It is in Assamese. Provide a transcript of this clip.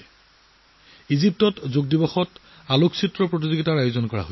এইবাৰ ইজিপ্তত যোগ দিৱসৰ দিনা এখন ফটো প্ৰতিযোগিতাৰ আয়োজন কৰা হৈছিল